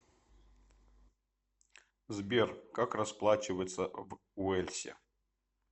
сбер как расплачиваться в уэльсе